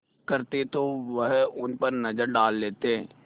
करते तो वह उन पर नज़र डाल लेते